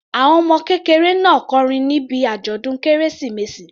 Àwọn ọmọ kékeré náà kọrin níbi àjọ̀dún kérésìmesì.